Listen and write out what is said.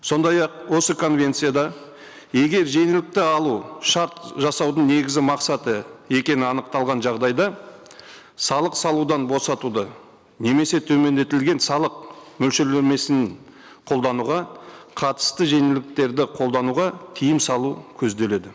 сондай ақ осы конвенцияда егер жеңілдікті алу шарт жасаудың негізгі мақсаты екені анықталған жағдайда салық салудан босатуды немесе төмендетілген салық мөлшерлемесін қолдануға қатысты жеңілдіктерді қолдануға тыйым салу көзделеді